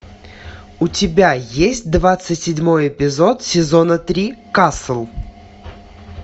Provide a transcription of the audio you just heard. у тебя есть двадцать седьмой эпизод сезона три касл